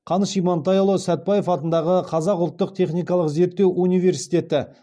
қаныш имантайұлы сәтбаев атындағы қазақ ұлттық техникалық зерттеу университеті